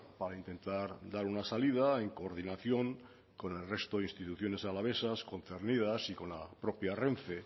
para intentar dar una salida en coordinación con el resto de instituciones alavesas concernidas y con la propia renfe